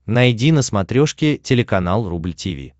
найди на смотрешке телеканал рубль ти ви